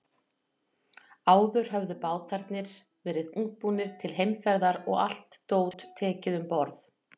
Áður höfðu bátarnir verið útbúnir til heimferðar og allt dót tekið um borð.